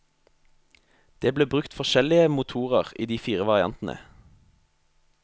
Det ble brukt forskjellige motorer i de fire variantene.